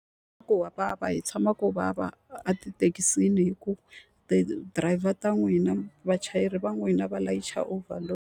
vava hi tshama ku vava a tithekisini hikuva ti-driver ta n'wina vachayeri va n'wina va layicha overload.